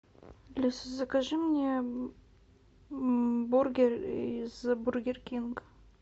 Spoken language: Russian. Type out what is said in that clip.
алиса закажи мне бургер из бургер кинг